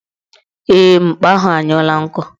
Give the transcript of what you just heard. Ee, mkpa ahụ anyụla nkọ